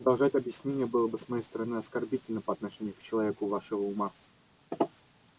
продолжать объяснение было бы с моей стороны оскорбительно по отношению к человеку вашего ума